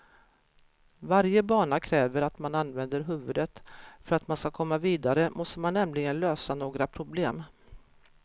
Varje bana kräver att man använder huvudet, för att man ska komma vidare måste man nämligen lösa några problem.